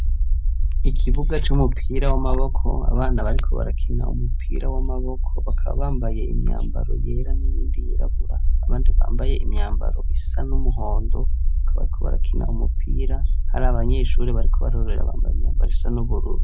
Ikibuga c'umupira w'amaboko, abana bariko barakina umupira w'amaboko bakaba bambaye imyambaro yera n'iyindi yirabura abandi bambaye imyambaro isa n'umuhondo bakaba ariko barakina umupira hari abanyeshuri bariko barorera bambaye imyambaro isa n'ubururu.